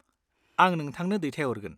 आं नोंथांनो दैथायहरगोन।